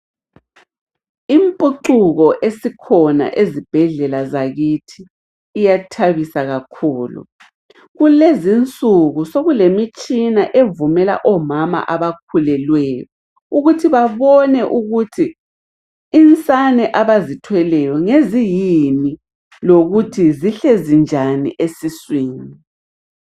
Impucuko esikhona ezibhedlela zakithi, iyathabisa kakhulu. Kulezinsuku sokulemitshina evumela omama abakhulelweyo ukuthi babone ukuthi, insane abazithweleyo ngeziyini, lokuthi zihlezi njani esiswini.